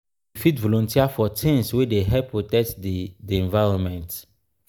we fit volunteer for things wey dey help protect di di environment